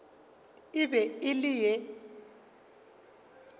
e be e le ye